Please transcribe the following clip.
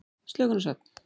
Slökun og svefn.